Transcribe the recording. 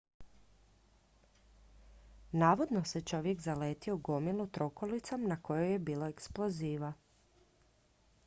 navodno se čovjek zaletio u gomilu trokolicom na kojoj je bilo eksploziva